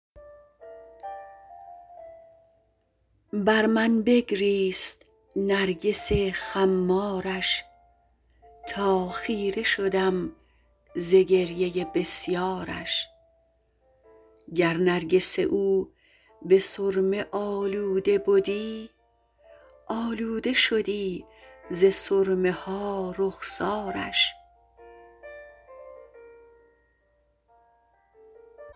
بر من بگریست نرگس خمارش تا خیره شدم ز گریه بسیارش گر نرگس او به سرمه آلوده بدی آلوده شدی ز سرمه ها رخسارش